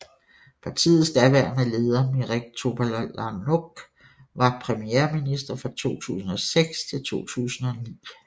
Partiets daværende leder Mirek Topolánek var premierminister fra 2006 til 2009